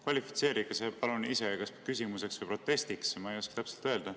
Kvalifitseerige see palun ise kas küsimuseks või protestiks, ma ei oska täpselt öelda.